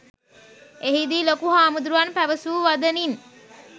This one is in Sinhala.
එහිදී ලොකු හාමුදුරුවන් පැවසූ වදනින්